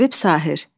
Həbib Sahir.